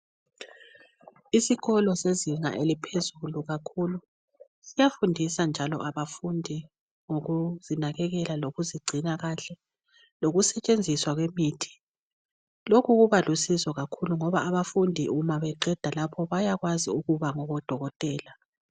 Isikolo sezinga eliphezulu kakhulu siyafundisa njalo abafundi ngokuzinakekela kokuzigcina kahle lokusetshenziswa kwemithi. Lokhu kuba lusizo kakhulu ngoba abafundi nxa beqeda lapho bayakwazi ukuba ngodokotela.